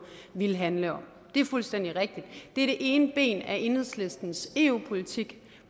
ville handle om det er fuldstændig rigtigt det er det ene ben af enhedslistens eu politik